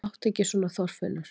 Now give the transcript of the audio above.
Láttu ekki svona Þorfinnur!